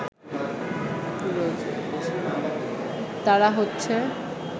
তারা হচ্ছে